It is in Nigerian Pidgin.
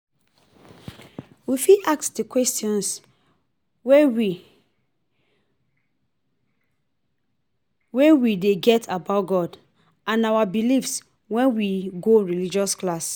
We fit ask di questions wey we wey we dey get about God and our beliefs when we go religious class